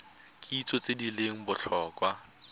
kitso tse di leng botlhokwa